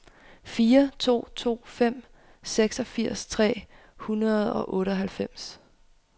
fire to to fem seksogfirs tre hundrede og otteoghalvfems